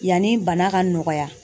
Yanni bana ka nɔgɔya